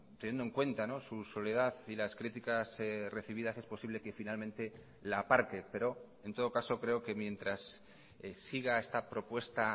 teniendo en cuenta su soledad y las criticas recibidas es posible que finalmente la aparte pero en todo caso creo que mientras siga esta propuesta